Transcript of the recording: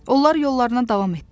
Onlar yollarına davam etdilər.